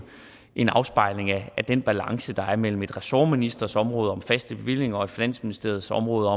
en afspejling af den balance der er mellem en ressortministers område om faste bevillinger og finansministeriets område